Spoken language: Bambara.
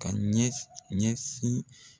Ka ɲɛs ɲɛsin